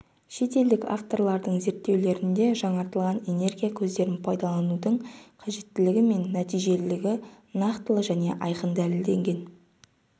шет елдік авторлардың зерттеулерінде жаңартылатын энергия көздерін пайдаланудың қажеттілігі мен нәтижелілігі нақтылы және айқын дәлелденген